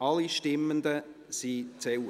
Alle Stimmenden zählen.